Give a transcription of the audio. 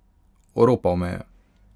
Oropal me je!